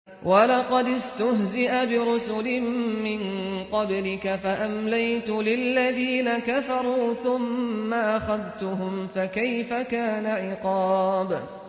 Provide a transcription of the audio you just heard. وَلَقَدِ اسْتُهْزِئَ بِرُسُلٍ مِّن قَبْلِكَ فَأَمْلَيْتُ لِلَّذِينَ كَفَرُوا ثُمَّ أَخَذْتُهُمْ ۖ فَكَيْفَ كَانَ عِقَابِ